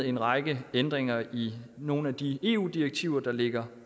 en række ændringer i nogle af de eu direktiver der ligger